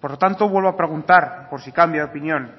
por lo tanto vuelvo a preguntar por si cambia de opinión